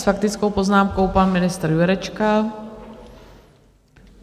S faktickou poznámkou pan ministr Jurečka.